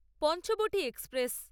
Panchavati express